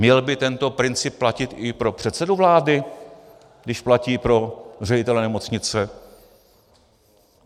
Měl by tento princip platit i pro předsedu vlády, když platí pro ředitele nemocnice?